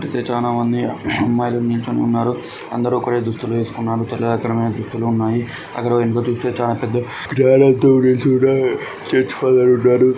అమ్మాయిలు నిల్చుని ఉన్నారు. అందరూ కూడా దుస్తులు వేసుకున్నారు. తెల్ల రకమైన దుస్తులు ఉన్నాయి. అక్కడ వెనుక చూస్తే చాలా పెద్ద చర్చి ఫాదర్ ఉన్నాడు.